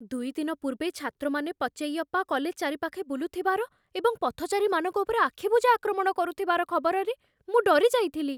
ଦୁଇ ଦିନ ପୂର୍ବେ, ଛାତ୍ରମାନେ ପଚୈୟପ୍ପା କଲେଜ୍ ଚାରିପାଖେ ବୁଲୁଥିବାର ଏବଂ ପଥଚାରୀମାନଙ୍କ ଉପରେ ଆଖିବୁଜା ଆକ୍ରମଣ କରୁଥିବାର ଖବରରେ ମୁଁ ଡରିଯାଇଥିଲି।